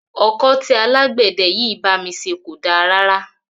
Ọkọ́ tí alágbẹ̀dẹ yìí bá mi ṣe kò da rárá.